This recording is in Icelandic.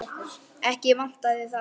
Ekki vantaði það.